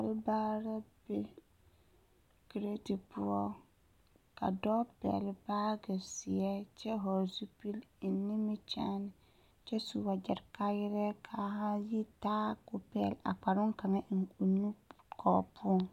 Kɔlbaare la be kireti poɔ ka dɔɔ pɛgle baage zeɛ kyɛ vɔgle zupili eŋ nimikyaane kyɛ su wagyɛre kaayɛrɛɛ k,a haa yitaa k,o pɛgle a kpare kaŋa eŋ o nu kɔrɔ poɔŋ.